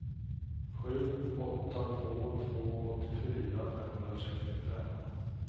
sju åtta två två åttiofyra femhundrasextiofem